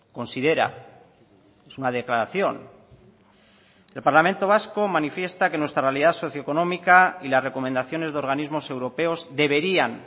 considera es una declaración el parlamento vasco manifiesta que nuestra realidad socioeconómica y las recomendaciones de organismos europeos deberían